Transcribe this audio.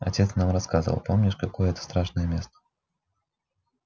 отец нам рассказывал помнишь какое это страшное место